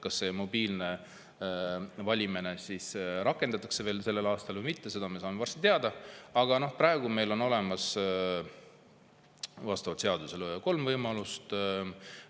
Kas mobiilne valimine rakendatakse juba sellel aastal või mitte, seda me saame varsti teada, aga praegu on meil olemas vastavalt seadusele kolm võimalust.